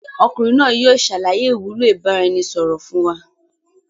Ọmọkùnrin náà yìí o ṣàlàyé ìwúlò ìbáraẹnisọọ̀rọ̀ fun wa.